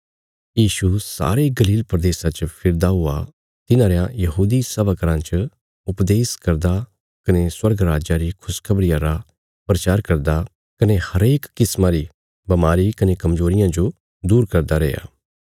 यीशु सारे गलील प्रदेशा च फिरदा हुआ तिन्हां रयां यहूदी सभा घराँ च उपदेश करदा कने स्वर्ग राज्जा री खुशखबरिया रा प्रचार करदा कने हरेक किस्मा री बमारी कने कमजोरियां जो दूर करदा रैया